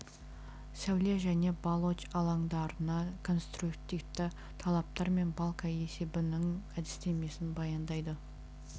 сәуле және балоч алаңдарына конструктивті талаптар мен балка есебінің әдістемесін баяндайды